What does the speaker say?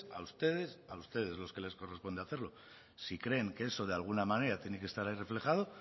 a ustedes a ustedes a los que les corresponde hacerlo si creen que eso de alguna manera tiene que estar ahí reflejado